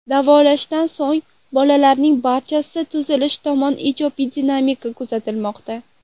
Davolashdan so‘ng bolalarning barchasida tuzalish tomon ijobiy dinamika kuzatilmoqda.